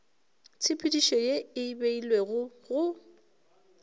tshepedišo ye e beilwego go